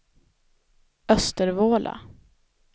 Östervåla